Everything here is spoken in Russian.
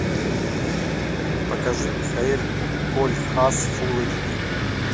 покажи михаэль кольхас фул эйч ди